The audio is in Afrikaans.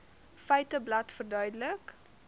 feiteblad verduidelik